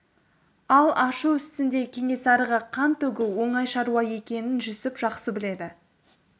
ал ашу үстінде кенесарыға қан төгу оңай шаруа екенін жүсіп жақсы біледі